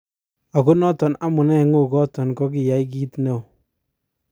Oko noton amune ngo' goton kokiyai kit neo.